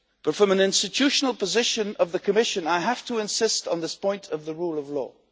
From the institutional position of the Commission, however, I have to insist on this point of the rule of law.